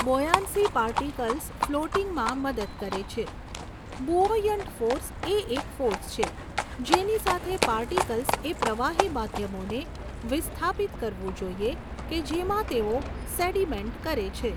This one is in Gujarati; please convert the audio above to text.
બોયાન્સી પાર્ટીકલ્સ ફ્લોટીંગમાં મદદ કરે છે. બુઓયન્ટ ફોર્સ એ એક ફોર્સ છે જેની સાથે પાર્ટીકલ્સએ પ્રવાહી માધ્યમોને વિસ્થાપિત કરવું જોઈએ કે જેમાં તેઓ સેડીમેન્ટ કરે છે.